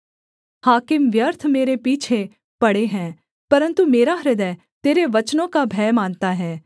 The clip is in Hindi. हाकिम व्यर्थ मेरे पीछे पड़े हैं परन्तु मेरा हृदय तेरे वचनों का भय मानता है